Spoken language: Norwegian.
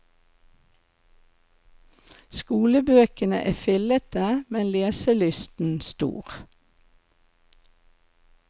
Skolebøkene er fillete, men leselysten stor.